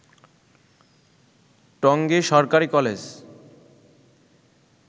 টঙ্গী সরকারি কলেজ